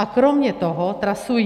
A kromě toho trasují.